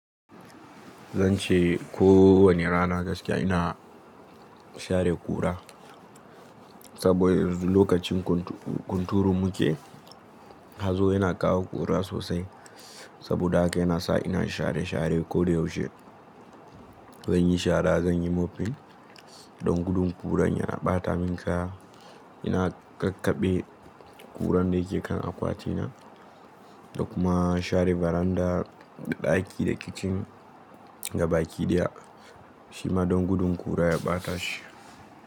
Zan ce kowani rana gaskiya ina share ƙura, saboda lokacin kunturu muke, hazo yana kawo ƙura sosai. Saboda haka yana sa ina share share ko da yaushe. Zanyi shara, zanyi mopping, don gudun ƙuran ya ɓata min kaya. Ina kakkaɓe ƙuran da yake kan akwati na da kuma share veranda da ɗaki da kitchen gabaki ɗaya shima don gudun ƙura ya ɓata shi.